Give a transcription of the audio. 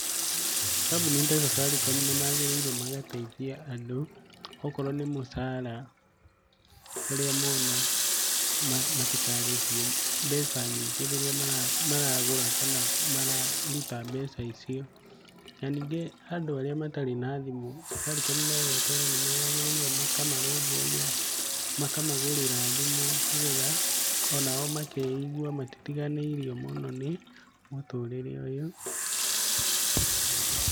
Kambuni ta Safaricom nĩ magĩrĩire magateithia andũ, okorwo nĩ mũcara ũrĩa mona, matikarĩhio mbeca nyingĩ rĩrĩa maragũra kana mararuta mbeca icio. Na ningĩ andũ arĩa matarĩ na thimũ, Safaricom na Airtel nĩ magirĩire makamarũmbũia, makamagũrĩra thimũ, nĩgetha onao makeigua matitiganĩirio mũno nĩ mũtũrĩre ũyũ.